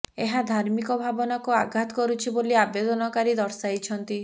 ଏହା ଧାର୍ମିକ ଭାବନାକୁ ଆଘାତ କରୁଛି ବୋଲି ଆବେଦନକାରୀ ଦର୍ଶାଇଛନ୍ତି